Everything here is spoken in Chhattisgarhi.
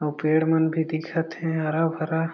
अउ पेड़ मन भी दिखत हे हरा-भरा--